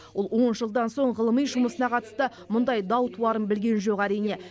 ол он жылдан соң ғылыми жұмысына қатысты мұндай дау туарын білген жоқ әрине